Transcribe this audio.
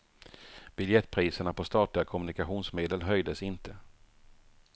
Biljettpriserna på statliga kommunikationsmedel höjdes inte.